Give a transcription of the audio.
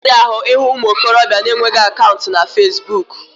Ọ na-arazi ahụ ịhụ ụmụ okorobịa na-enweghi akaụntụ na fasibuuku.